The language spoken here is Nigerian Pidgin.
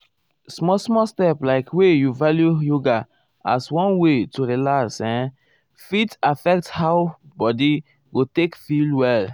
small small step like wey you value yoga as one way to relax[um]fit affect how how body go take feel well.